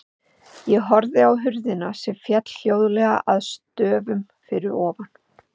Ég horfði á hurðina sem féll hljóðlega að stöfum fyrir ofan.